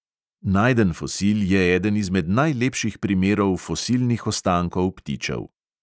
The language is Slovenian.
Najden fosil je eden izmed najlepših primerov fosilnih ostankov ptičev.